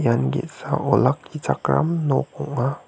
ian ge·sa olakkichakram nok ong·a.